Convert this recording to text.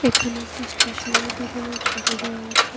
এখানে একটি স্টেশনারি দোকানের ছবি দেওয়া আছে।